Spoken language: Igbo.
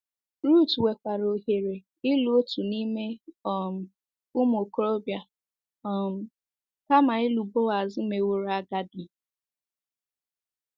Ruth nwekwaara ohere ịlụ otu n’ime um “ụmụ okorobịa” um kama ịlụ Boaz meworo agadi